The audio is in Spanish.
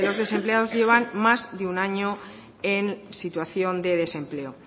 de los desempleados llevan más de un año en situación de desempleo